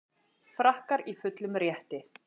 Frakkar í fullum rétti